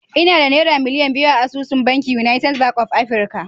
Ina da Naira miliyan biyu a asusun bankin United Bank of Africa